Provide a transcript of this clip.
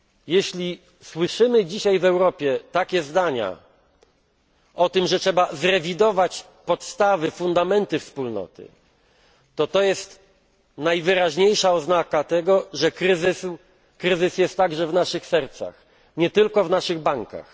Jeśli słyszymy dzisiaj w Europie zdania o tym, że trzeba zrewidować podstawy, fundamenty Wspólnoty, to jest to najwyraźniej oznaką tego, że kryzys jest także w naszych sercach, nie tylko w naszych bankach.